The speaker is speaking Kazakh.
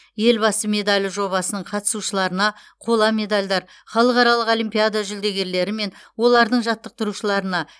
елбасы медалі жобасының қатысушыларына қола медальдар халықаралық олимпиада жүлдегерлері мен олардың жаттықтырушыларына